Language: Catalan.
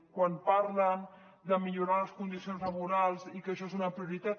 quan parlen de millorar les condicions laborals i que això és una prioritat